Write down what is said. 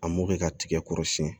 A mɔkɛ ka tigɛ kɔrɔsiyɛn